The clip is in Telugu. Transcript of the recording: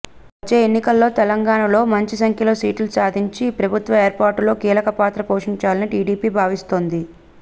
వచ్చే ఎన్నికల్లో తెలంగాణలో మంచి సంఖ్యలో సీట్లు సాధించి ప్రభుత్వ ఏర్పాటులో కీలక పాత్ర పోషించాలని టీడీపీ భావిస్తోంది